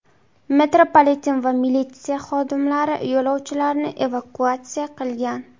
Metropoliten va militsiya xodimlari yo‘lovchilarni evakuatsiya qilgan.